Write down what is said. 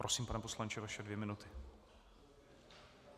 Prosím, pane poslanče, vaše dvě minuty.